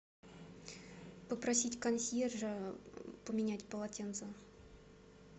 попросить консьержа поменять полотенца